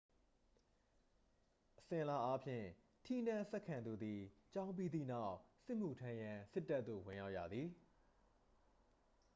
အစဉ်အလာအားဖြင့် ထီးနန်းဆက်ခံသူသည် ကျောင်းပြီးသည့်နောက် စစ်မှုထမ်းရန် စစ်တပ်သို့ ဝင်ရောက်ရသည်